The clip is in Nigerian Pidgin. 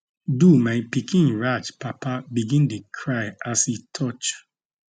do my pikin raj papa begin dey cry as e touch